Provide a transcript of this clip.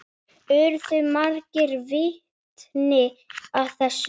Urðu margir vitni að þessu.